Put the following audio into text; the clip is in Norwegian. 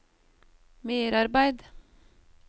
merarbeid